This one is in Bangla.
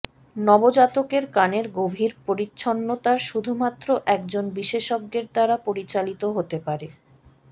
নবজাতকের কানের গভীর পরিচ্ছন্নতার শুধুমাত্র একজন বিশেষজ্ঞের দ্বারা পরিচালিত হতে পারে